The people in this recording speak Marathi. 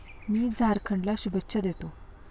मी झारखंडला शुभेच्छा देतो.